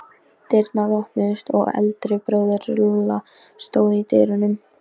Og síðan ofan á allt annað- þessi sending úr Dölunum!